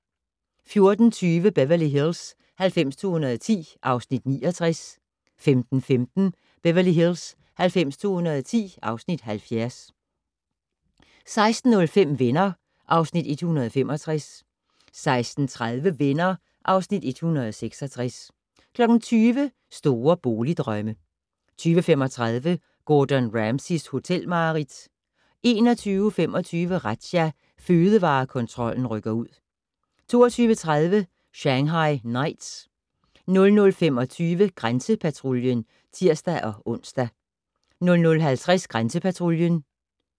14:20: Beverly Hills 90210 (Afs. 69) 15:15: Beverly Hills 90210 (Afs. 70) 16:05: Venner (Afs. 165) 16:30: Venner (Afs. 166) 20:00: Store boligdrømme 20:35: Gordon Ramsays hotelmareridt 21:25: Razzia - Fødevarekontrollen rykker ud 22:30: Shanghai Knights 00:25: Grænsepatruljen (tir-ons) 00:50: Grænsepatruljen